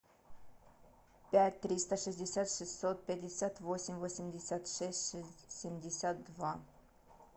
пять триста шестьдесят шестьсот пятьдесят восемь восемьдесят шесть семьдесят два